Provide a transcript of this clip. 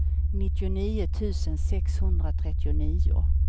nittionio tusen sexhundratrettionio